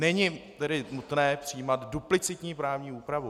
Není tedy nutné přijímat duplicitní právní úpravu.